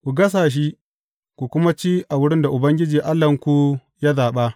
Ku gasa shi, ku kuma ci a wurin da Ubangiji Allahnku ya zaɓa.